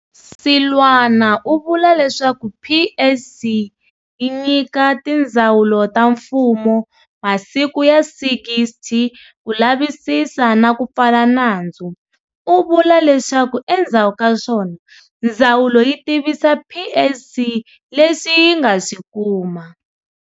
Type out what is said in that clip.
Seloane u vula leswaku PSC yi nyika tindzawulo ta mfumo masiku ya 60 ku lavisisa na ku pfala nandzu. U vula leswaku endzhaku kaswona ndzawulo yi tivisa PSC leswi yi nga swi kuma.